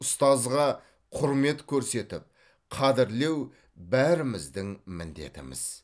ұстазға құрмет көрсетіп қадірлеу бәріміздің міндетіміз